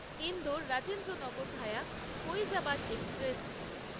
Indore Rajendranagar via Faizabad express